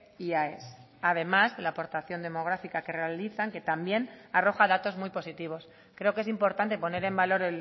y aes además de la aportación demográfica que realizan que también arroja datos muy positivos creo que es importante poner en valor